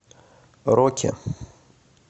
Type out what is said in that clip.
роки